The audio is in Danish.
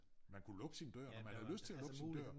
Man kunne lukke sin dør når man havde lyst til at lukke sin dør